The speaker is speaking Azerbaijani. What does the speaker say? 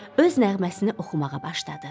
Öz nəğməsini oxumağa başladı.